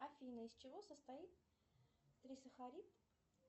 афина из чего состоит трисахарид